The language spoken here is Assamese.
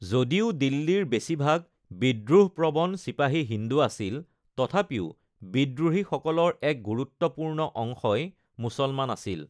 যদিও দিল্লীৰ বেছিভাগ বিদ্ৰোহপ্ৰৱণ চিপাহী হিন্দু আছিল, তথাপিও বিদ্ৰোহীসকলৰ এক গুৰুত্বপূৰ্ণ অংশই মুছলমান আছিল।